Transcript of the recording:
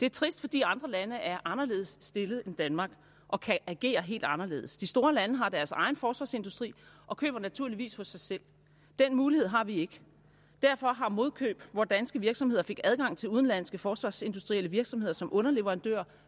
det er trist fordi andre lande er anderledes stillet end danmark og kan agere helt anderledes de store lande har deres egen forsvarsindustri og køber naturligvis hos sig selv den mulighed har vi ikke derfor har modkøb hvor danske virksomheder fik adgang til udenlandske forsvarsindustrielle virksomheder som underleverandør